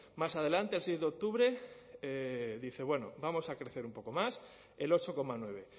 más adelante el seis de octubre dice bueno vamos a crecer un poco más el ocho coma nueve